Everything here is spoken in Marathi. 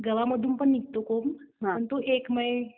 गव्हामधून पण निघतं कोंब पण तो एक